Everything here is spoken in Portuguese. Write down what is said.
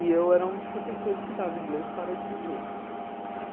E eu era um dos professores que dava inglês para estrangeiros.